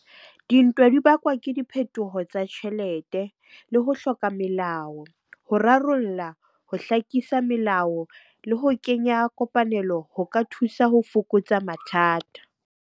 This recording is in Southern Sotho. Dintwa di bakwa ke diphetoho tsa tjhelete le ho hloka melao, ho rarolla, ho hlakisa melao le ho kenya kopanelo ho ka thusa ho fokotsa mathata.